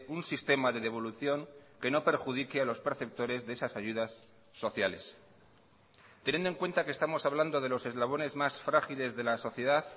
un sistema de devolución que no perjudique a los perceptores de esas ayudas sociales teniendo en cuenta que estamos hablando de los eslabones más frágiles de la sociedad